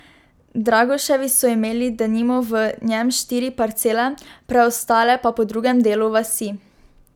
Dragoševi so imeli denimo v njem štiri parcele, preostale pa po drugem delu vasi.